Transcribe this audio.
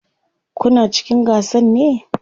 Kuna cikin gasan ne?